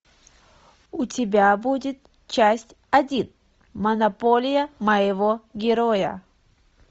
у тебя будет часть один монополия моего героя